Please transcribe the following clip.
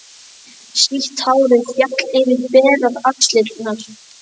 Sítt hárið féll yfir berar axlirnar.